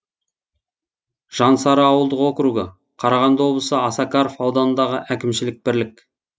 жансары ауылдық округі қарағанды облысы осакаров ауданындағы әкімшілік бірлік